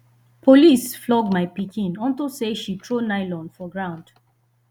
police flog my pikin unto say she throw nylon for ground